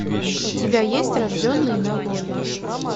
у тебя есть рожденный на воле